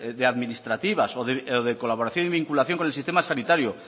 administrativas o de colaboración y vinculación con el sistema sanitario